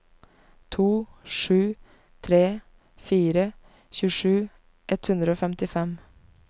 to sju tre fire tjuesju ett hundre og femtifem